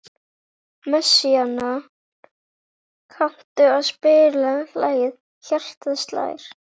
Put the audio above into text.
Messíana, kanntu að spila lagið „Hjartað slær“?